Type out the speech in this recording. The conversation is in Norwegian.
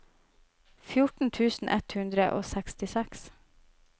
fjorten tusen ett hundre og sekstiseks